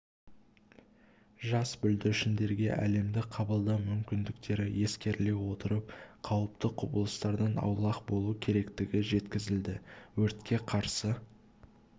жас бүлдіршіндерге әлемді қабылдау мүмкіндіктері ескеріле отырып қауіпті құбылыстардан аулақ болу керектігі жеткізілді өртке қарсы